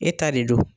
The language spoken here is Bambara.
E ta de don